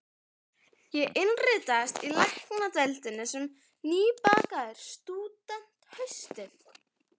Ég innritaðist í Læknadeildina sem nýbakaður stúdent haustið